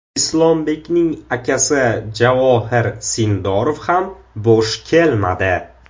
Islombekning akasi Javohir Sindorov ham bo‘sh kelmadi.